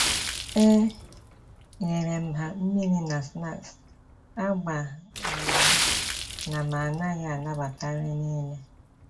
E nyerem ha mmiri na snaksi agbanyeghi na m-anaghị anabata nri n'ile